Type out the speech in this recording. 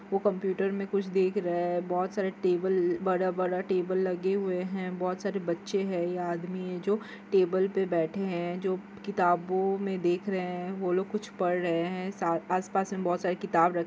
वो कंप्यूटर में कुछ देख रहे है बहोत सारे टेबल बड़ा-बड़ा टेबल लगे हुए है बहोत सारे बच्चे है ये आदमी है जो टेबल पे बैठे है जो किताबों में देख रहे है वो लोग कुछ पढ़ रहे है सा आसपास में बहुत सारी किताब र--